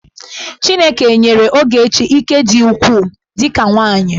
Chineke nyere Ogechi ike dị ukwuu dị ka nwaanyị.